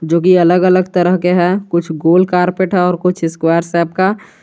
जो कि अलग अलग तरह के हैं कुछ गोलकर कुछ स्क्वायर शेप का।